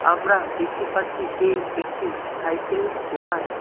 আমরা দেখতে পারছি যে একটি সাইকেলের দোকান।